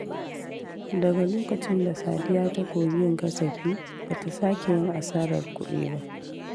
Daga lokacin da Sadiya ta koyi yin kasafi, ba ta sake yin asarar kudi ba.